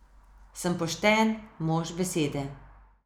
Sem pošten, mož besede.